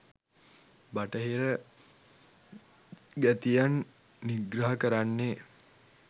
බටහිර ගැතියන් නිග්‍රහ කරන්නේ